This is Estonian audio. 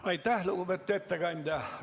Aitäh, lugupeetud ettekandja!